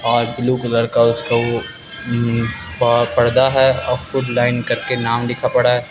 और blue colour का उसका वो प पर्दा है अ उसको ब्लाइंड करके नाम लिखा पड़ा है।